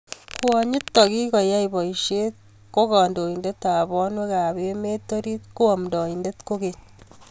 Kwonyitok kikoyae paiset ko kandoindet ap panwek ap emeet oriit ko amdaindet kokeny